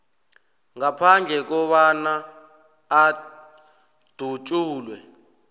ngaphandle kobana adutjulwe